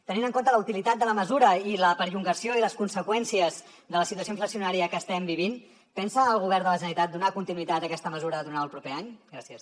tenint en compte la utilitat de la mesura i la perllongació i les conseqüències de la situació inflacionària que estem vivint pensa el govern de la generalitat donar continuïtat a aquesta mesura durant el proper any gràcies